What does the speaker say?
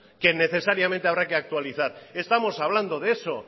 que necesariamente habrá que actualizar estamos hablando de eso